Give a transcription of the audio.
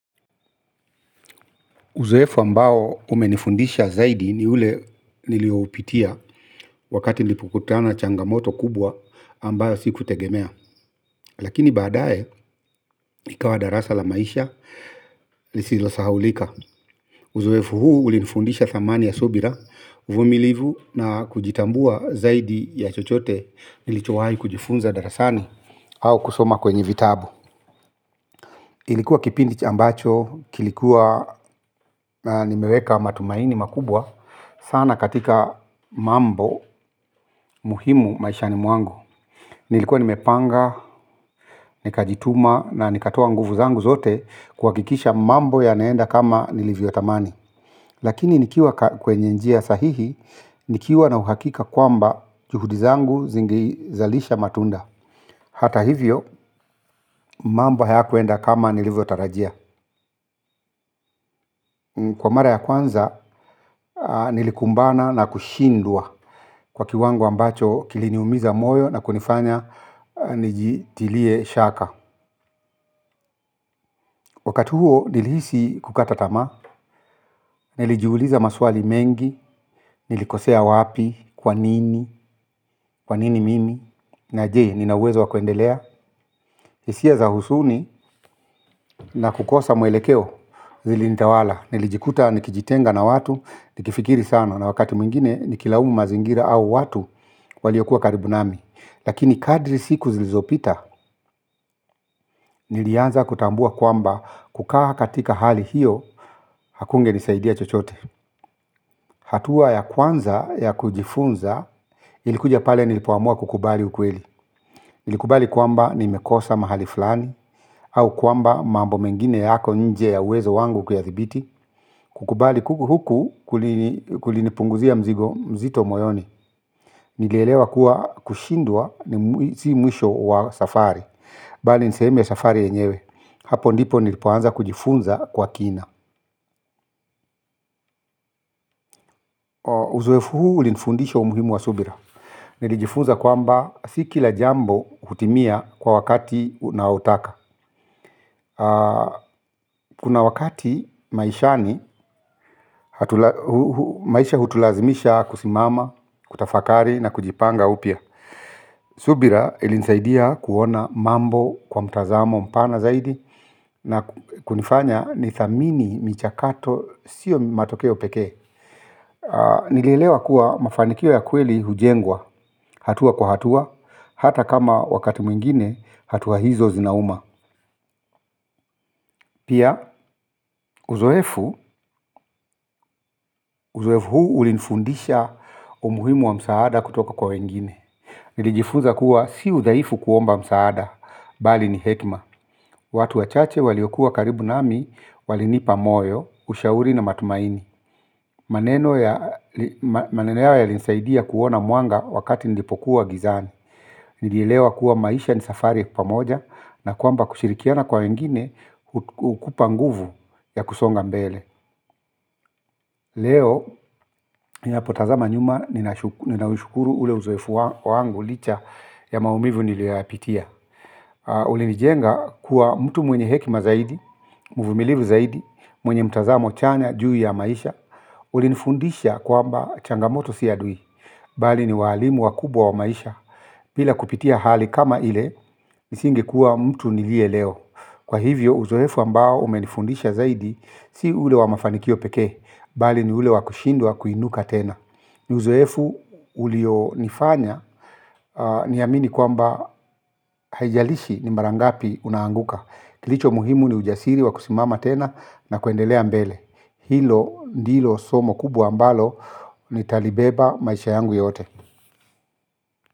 Uzoefu ambao umenifundisha zaidi ni ule nilioupitia wakati nilipokutana na changamoto kubwa ambayo sikutegemea. Lakini badae ikawa darasa la maisha lisilo sahulika. Uzoefu huu ulinifundisha thamani ya subira vumilivu na kujitambua zaidi ya chochote nilichowahi kujifunza darasani au kusoma kwenye vitabu. Ilikuwa kipindi chambacho, kilikuwa nimeweka matumaini makubwa sana katika mambo muhimu maisha ni mwangu. Nilikuwa nimepanga, nikajituma na nikatoa nguvu zangu zote kuhakikisha mambo yanaenda kama nilivyo tamani. Lakini nikiwa kwenye njia sahihi nikiwa na uhakika kwamba juhudi zangu zinge zalisha matunda. Hata hivyo mambo hayakuenda kama nilivyo tarajia. Kwa mara ya kwanza nilikumbana na kushindwa. Kwa kiwango ambacho kiliniumiza moyo na kunifanya nijitilie shaka. Wakati huo nilihisi kukata tamaa. Nilijiuliza maswali mengi, nilikosea wapi, kwanini, kwanini mimi. Na je, ninauwezo wakuendelea hisia za huzuni na kukosa mwelekeo zili nitawala. Nilijikuta nikijitenga na watu, nikifikiri sana na wakati mwingine nikilaumu mazingira au watu waliyokuwa karibu nami. Lakini kadri siku zilizopita nilianza kutambua kwamba kukaa katika hali hiyo hakunge nisaidia chochote. Hatua ya kwanza ya kujifunza ilikuja pale nilipoamua kukubali ukweli nilikubali kwamba nimekosa mahali fulani au kwamba mambo mengine yako nje ya uwezo wangu kuyathibiti. Kukubali kuku huku kulinipunguzia mzigo mzito moyoni. Nilielewa kuwa kushindwa si mwisho wa safari. Bali nisehemu ya safari yenyewe. Hapo ndipo nilipoanza kujifunza kwa kina. Uzoefu huu ulinfundisha umuhimu wa Subira. Nilijifunza kwamba si kila jambo hutimia kwa wakati unaotaka. Kuna wakati maishani maisha hutulazimisha kusimama, kutafakari na kujipanga upya. Subira ilinsaidia kuona mambo kwa mtazamo mpana zaidi na kunifanya ni thamini michakato siyo matokeo peke nilielewa kuwa mafanikio ya kweli hujengwa hatua kwa hatua hata kama wakati mwingine hatua hizo zinauma pia uzoefu uzoefu huu ulinifundisha umuhimu wa msaada kutoka kwa wengine nilijifuza kuwa si udhaifu kuomba msaada bali ni hekima watu wachache waliokuwa karibu nami walinipa moyo ushauri na matumaini. Maneno yao yalinisaidia kuona mwanga wakati nilipokuwa gizani. Nilielewa kuwa maisha ni safari ya pamoja na kwamba kushirikiana kwa wengine hukupa nguvu ya kusonga mbele. Leo, ninapo tazama nyuma nina ushukuru ule uzoefu wangu licha ya maumivu niliyoyapitia. Ulinijenga kuwa mtu mwenye hekima zaidi, muvumilivu zaidi, mwenye mtazamo chanya, juu ya maisha. Ulinifundisha kwamba changamoto si adui. Bali ni walimu wakubwa wa maisha, bila kupitia hali kama ile, nisinge kuwa mtu nilie leo. Kwa hivyo, uzoefu ambao umenifundisha zaidi, si ule wa mafanikio peke, bali ni ule wa kushindwa kuinuka tena. Ni zuoefu ulio nifanya, niamini kwamba haijalishi ni marangapi unaanguka. Kilicho muhimu ni ujasiri wa kusimama tena na kuendelea mbele. Hilo ndilo, somo kubwa ambalo, nitalibeba maisha yangu yote.